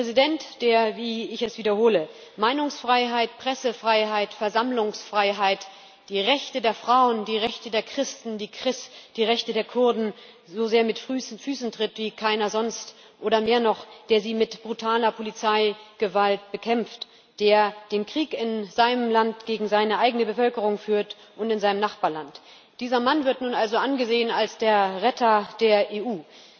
Der Präsident, der wie ich es wiederhole Meinungsfreiheit, Pressefreiheit, Versammlungsfreiheit, die Rechte der Frauen, die Rechte der Christen, die Rechte der Kurden so sehr mit Füßen tritt wie keiner sonst, oder mehr noch, der sie mit brutaler Polizeigewalt bekämpft, der den Krieg in seinem Land gegen seine eigene Bevölkerung führt und in seinem Nachbarland, dieser Mann wird nun also angesehen als der Retter der EU.